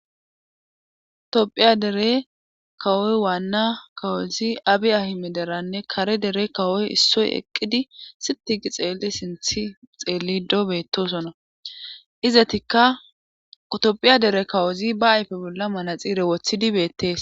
tophiya dere kawoy waanna kawozi abi ahime deranne kare dere kawoy issoy eqqidi sitigi xeelli sinth xeelli doo beetosona izatikka utophiya dere kawozi ba ayfe bolla manaxiire woththidibeettees